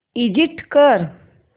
exit कर